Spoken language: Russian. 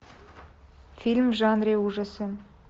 фильм в жанре ужасы